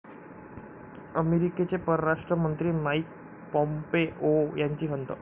अमेरिकेचे परराष्ट्र मंत्री माईक पॉम्पेओ यांची खंत